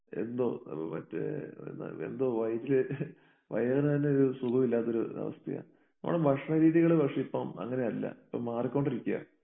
എന്തോ നമുക്ക് മറ്റേഏഹ് എന്തോ വൈറ്റില് വയറിനെ തന്നെ ഒരു സുഖമില്ലാത്തൊരു അവസ്ഥയാ. നമ്മുടെ ഭക്ഷണ രീതികള് പക്ഷേ ഇപ്പം അങ്ങനെയല്ല. ഇപ്പം മാറിക്കൊണ്ടിരിക്കുകയാണ്.